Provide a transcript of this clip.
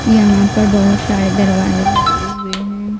यहाँ पर बहुत सारे दरवाजे लगे हुए हैं।